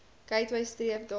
gateway streef daarna